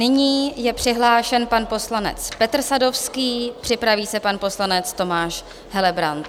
Nyní je přihlášen pan poslanec Petr Sadovský, připraví se pan poslanec Tomáš Helebrant.